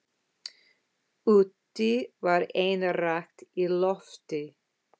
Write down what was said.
Úti var enn rakt í lofti.